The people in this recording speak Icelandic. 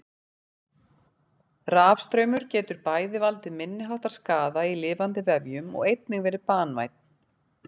Rafstraumur getur bæði valdið minniháttar skaða í lifandi vefjum og einnig verið banvænn.